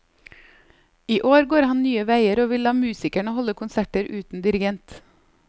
I år går han nye veier og vil la musikerne holde konserter uten dirigent.